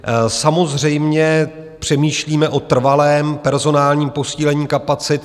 Samozřejmě přemýšlíme o trvalém personálním posílení kapacit.